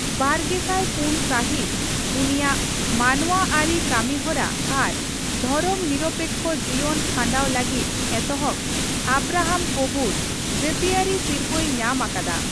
ᱵᱟᱨᱜᱮᱥᱟᱭ ᱯᱩᱱ ᱥᱟᱦᱤᱛ ᱩᱱᱤᱟᱜ ᱢᱟᱱᱚᱣᱟ ᱟᱹᱨᱤ ᱠᱟᱹᱢᱤ ᱦᱚᱨᱟ ᱟᱨ ᱫᱷᱚᱨᱚᱢ ᱱᱤᱨᱚᱯᱮᱠᱠᱷᱚ ᱡᱤᱭᱚᱱ ᱠᱷᱟᱸᱰᱟᱣ ᱞᱟᱹᱜᱤᱫ ᱮᱛᱚᱦᱚᱵ ᱟᱵᱨᱟᱦᱟᱢ ᱠᱳᱵᱷᱩᱨ ᱡᱟᱹᱛᱤᱭᱟᱹᱨᱤ ᱥᱤᱨᱯᱟᱹᱭ ᱧᱟᱢ ᱟᱠᱟᱫᱟ ᱾